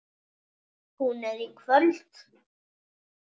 Hún er í kvöld.